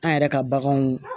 An yɛrɛ ka baganw